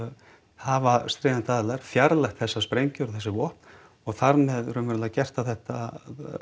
hafa stríðandi aðilar fjarlægt þessar sprengjur og þessi vopn og þar með raunverulega þá gert þetta